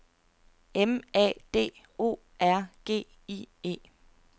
M A D O R G I E